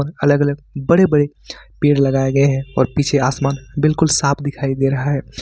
अलग अलग बड़े बड़े पेड़ लगाए गए हैं और पीछे आसमान बिल्कुल साफ दिखाई दे रहा है।